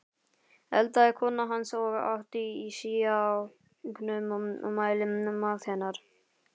eldaði kona hans, og át í síauknum mæli, mat hennar.